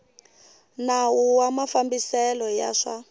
nawu wa mafambiselo ya swa